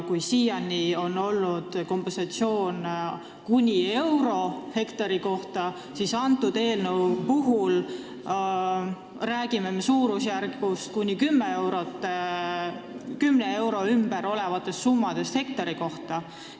Kui siiani on olnud kompensatsioon kuni euro hektari kohta, siis selle eelnõu puhul räägime me summast suurusjärgus kuni 10 eurot hektari kohta.